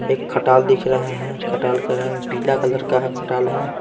एक खटाल दिख रहा है खटाल का रंग पीला कलर का खटाल है।